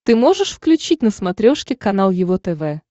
ты можешь включить на смотрешке канал его тв